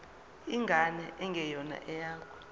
ingane engeyona eyakho